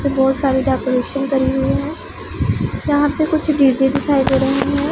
बहोत सारी डेकोरेशन करी हुई है यहां पे कुछ डी_जे दिखाई दे रहे है।